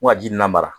Ko ŋa ji nin nama